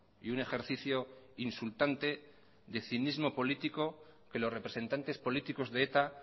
y un ejercicio insultante de cinismo político que los representantes políticos de eta